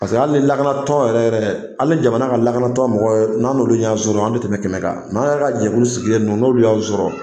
Paseke hali ni lakanatɔ yɛrɛ yɛrɛ, hali ni jamana ka lakanatɔ mɔgɔw yɛrɛ n'an olu ɲan sɔrɔ an tɛ tɛmɛ kɛmɛ kan. Nka anw yɛrɛ ka jɛkulu sigilen nunnu n'olu y'aw sɔrɔ.